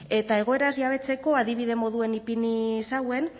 eta egoeraz jabetzeko adibide moduen ipini zauen